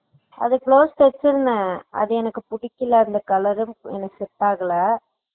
அதுக்கு blouse தெச்சுருந்தேன் அது எனக்கு பிடிக்கல அந்த colour ம் எனக்கு set ஆகல